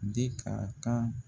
De ka kan